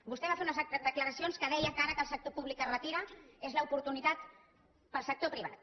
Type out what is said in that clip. vostè va fer unes declaracions en les quals deia que ara que el sector públic es retira és l’oportunitat per al sector privat